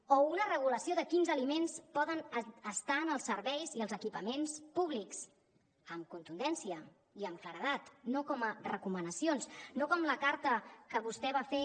o una regulació de quins aliments poden estar en els serveis i els equipaments públics amb contundència i amb claredat no com a recomanacions no com la carta que vostè va fer